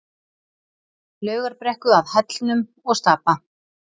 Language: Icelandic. Laugarbrekku að Hellnum og Stapa.